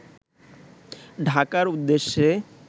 ঢাকার উদ্দেশ্যে